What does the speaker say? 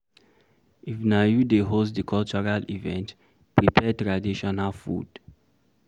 if na you dey host di cultural event, prepare traditional food